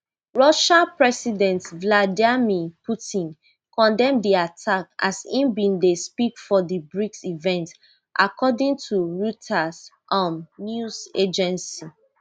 russia president vladimir putin condemn di attack as im bin dey speak for di brics event according to reuters um news agency